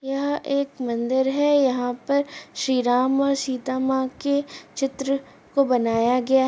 यह एक मंदिर है। यहा पर श्री राम और सीता माँ के चित्र को बनाया गया --